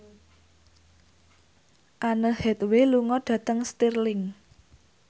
Anne Hathaway lunga dhateng Stirling